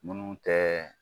Munnu tɛ